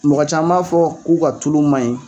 Mɔgɔ caman b'a fɔ k'u ka tulu man ɲi